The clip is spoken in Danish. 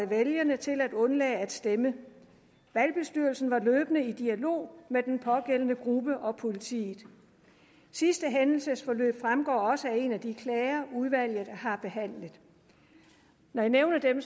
vælgerne til at undlade at stemme valgbestyrelsen var løbende i dialog med den pågældende gruppe og politiet sidste hændelsesforløb fremgår også af en af de klager udvalget har behandlet når jeg nævner dem